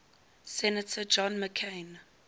senator john mccain